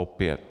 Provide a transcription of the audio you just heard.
Opět.